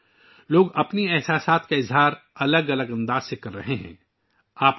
لوگ مختلف طریقوں سے اپنے جذبات کا اظہار کر رہے ہیں